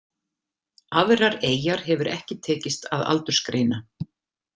Aðrar eyjar hefur ekki tekist að aldursgreina.